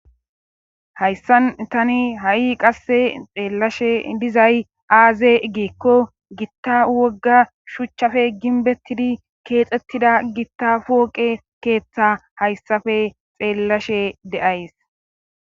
Hayssan tani ha7i qasse xeellashe dizay aaze igikko gitta wogga shuchchafe ginbettidi keexxettida gitta pooqe keeththa hayssafe xeellashe de7ays.